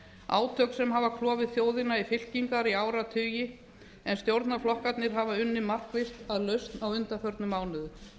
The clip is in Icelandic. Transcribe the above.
átök sem hafa klofið þjóðina í áratugi en stjórnarflokkarnir hafa unnið markvisst að lausn á undanförnum mánuðum